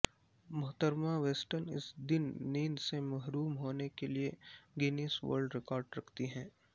محترمہ ویسٹن اس دن نیند سے محروم ہونے کے لئے گینیس ورلڈ ریکارڈ رکھتی ہے